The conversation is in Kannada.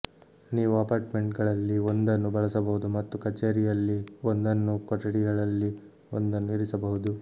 ನೀವು ಅಪಾರ್ಟ್ಮೆಂಟ್ಗಳಲ್ಲಿ ಒಂದನ್ನು ಬಳಸಬಹುದು ಮತ್ತು ಕಛೇರಿಯಲ್ಲಿ ಒಂದನ್ನು ಕೊಠಡಿಗಳಲ್ಲಿ ಒಂದನ್ನು ಇರಿಸಬಹುದು